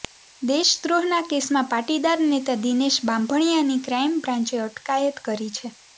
દેશદ્રોહના કેસમાં પાટીદાર નેતા દિનેશ બાંભણિયાની ક્રાઇમ બ્રાન્ચે અટકાયત કરી છે